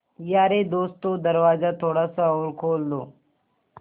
यारे दोस्तों दरवाज़ा थोड़ा सा और खोल दो